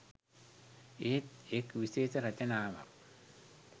එහෙත් එක් විශේෂ රචනාවක්